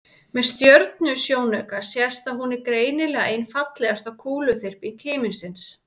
með stjörnusjónauka sést að hún er greinilega ein fallegasta kúluþyrping himinsins